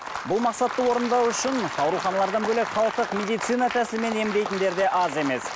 бұл мақсатты орындау үшін ауруханалардан бөлек халықтық медицина тәсілімен емдейтіндер де аз емес